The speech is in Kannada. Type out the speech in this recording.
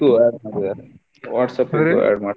ಇದ್ಕು WhatsApp ಜೊತೆ add ಮಾಡ್ತಿವಿ ಅಂತ.